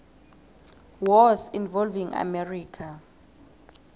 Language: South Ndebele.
wars involving america